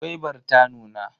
Gwaibar ta nuna.